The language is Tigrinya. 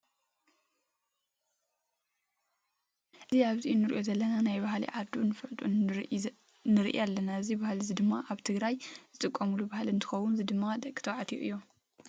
እዚ ኣብዚ እንሪኦ ዘለና ናይ ባህሊ ዓዱ እንፋለጠ ንርኢ ኣለና እዚ ባህሊ እዚ ድማ ኣብ ትግራይ ዝጥቀምሉ ባህሊ እንትኮን እዚ ድማ ደቂ ተባልትዩ እዮም።